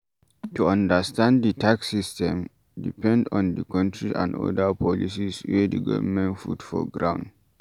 To understand di tax system, depend on di country and oda policies wey di governement put for ground